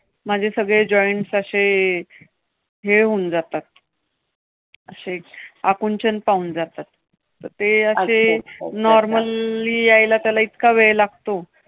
माझे सगळे joints अशे हे होऊन जातात. अशे आकुंचन पावून जातात. ते अशे अच्छा, अच्छा! normally यायला त्याला इतका वेळ लागतो.